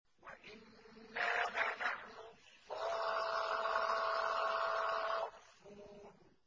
وَإِنَّا لَنَحْنُ الصَّافُّونَ